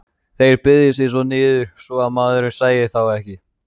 Þeir beygðu sig niður svo að maðurinn sæi þá ekki.